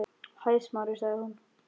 Hæ, Smári- sagði hún.